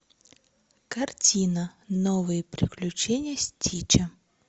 картина новые приключения стича